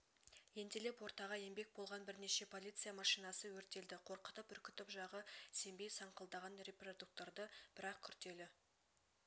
ентелеп ортаға еңбек болған бірнеше полиция машинасы өртелді қорқытып-үркітіп жағы сембей саңқылдаған репродукторды бір ақ күртелі